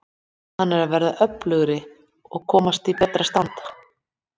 Hann er að verða öflugri og komast í betra stand.